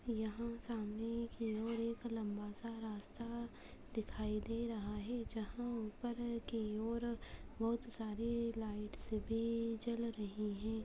यहाँ सामने की और एक लम्बा सा रास्ता दिखाई दे रहा है जहाँ ऊपर की और बोहोत सारी लाइट्स भी जल रहीं है।